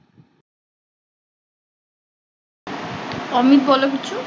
অমিত বলো কিছু